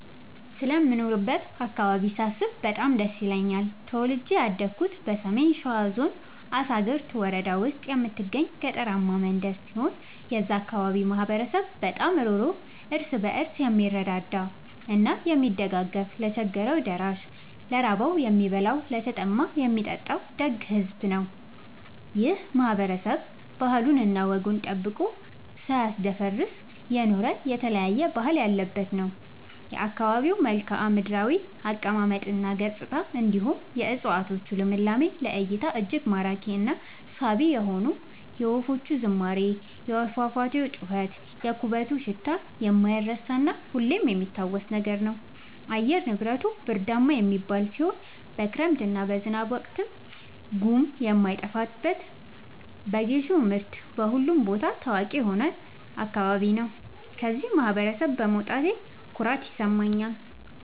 ስለምኖርበት አካባቢ ሳስብ በጣም ደስ ይለኛል። ተወልጄ ያደኩት በሰሜን ሸዋ ዞን አሳግርት ወረዳ ውስጥ በምትገኝ ገጠራማ መንደር ሲሆን የዛ አካባቢ ማህበረሰብ በጣም ሩህሩህ ÷ እርስ በርሱ የምረዳዳ እና የሚደጋገፍ ለቸገረው ደራሽ ÷ ለራበው የሚያበላ ÷ለተጠማ የሚያጠጣ ደግ ሕዝብ ነው። ይህ ማህበረሰብ ባህሉን እና ወጉን ጠብቆ ሳያስደፍር የኖረ የተለያየ ባህል ያለበት ነው። የአካባቢው መልከዓምድራው አቀማመጥ እና ገጽታ እንዲሁም የ እፀዋቶቹ ልምላሜ ለ እይታ እጅግ ማራኪ እና ሳቢ የሆነ የወፎቹ ዝማሬ የፏፏቴው ጩኸት የኩበቱ ሽታ የማይረሳ እና ሁሌም የሚታወስ ነገር ነው። አየር ንብረቱ ብርዳማ የሚባል ሲሆን በክረምት እና በዝናብ ወቅት ጉም የማይጠፋበት በጌሾ ምርት በሁሉም ቦታ ታዋቂ የሆነ አካባቢ ነው። ከዚህ ማህበረሰብ በመውጣቴ ኩራት ይሰማኛል።